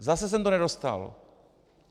Zase jsem to nedostal.